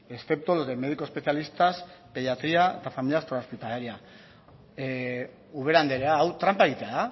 excepto los de médico especialista pediatría hospitalaria ubera andrea hau tranpa egitea